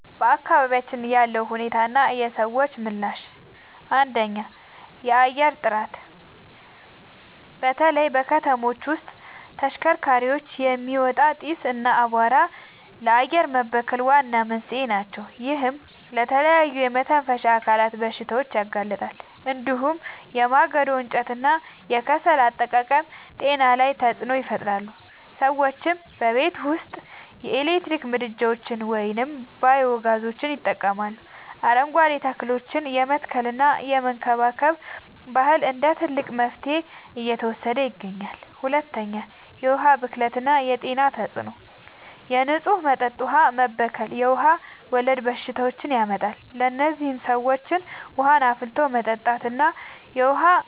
በአካባቢያችን ያለው ሁኔታና የሰዎች ምላሽ፦ 1. የአየር ጥራት፦ በተለይ ከተሞች ውስጥ ከተሽከርካሪዎች የሚወጣ ጢስ እና አቧራ ለአየር መበከል ዋና መንስኤዎች ናቸው። ይህም ለተለያዩ የመተንፈሻ አካላት በሽታዎች ያጋልጣል። እንዲሁም የማገዶ እንጨትና የከሰል አጠቃቀም ጤና ላይ ተጽዕኖ ይፈጥራል። ሰዎችም በቤት ውስጥ የኤሌክትሪክ ምድጃዎችን ወይም ባዮ-ጋዝ ይጠቀማሉ፣ አረንጓዴ ተክሎችን የመትከልና የመንከባከብ ባህል እንደ ትልቅ መፍትሄ እየተወሰደ ይገኛል። 2. የዉሀ ብክለት የጤና ተጽዕኖ፦ የንጹህ መጠጥ ውሃ መበከል የውሃ ወለድ በሽታዎችን ያመጣል። ለዚህም ሰዎች ውሃን አፍልቶ መጠጣትና የዉሃ